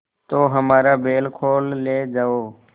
तो हमारा बैल खोल ले जाओ